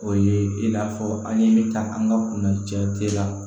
O ye i n'a fɔ an ye min ta an ka kunna jate la